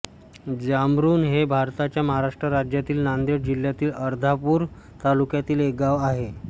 जामरुण हे भारताच्या महाराष्ट्र राज्यातील नांदेड जिल्ह्यातील अर्धापूर तालुक्यातील एक गाव आहे